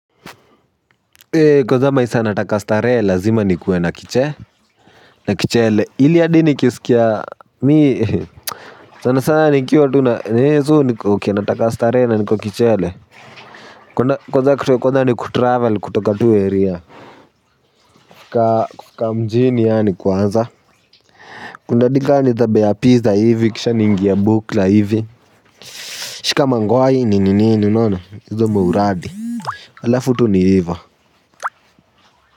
Ee kwanza masaa nataka starehe lazima ni kuwe na kiche na kichele ili hadi ni kisikia mii sana sana nikiwa tu na niko uke nataka starehe na niko kichele kwanza kitu ya kwanza ni kutravel kutoka tu area ka mjini yaani kwanza kundadi gani baze ya pizza hivi kisha niingie bukla hivi shika mangwai hii ni nini nini unaona hizo mauradi alafutu ni ihivyo.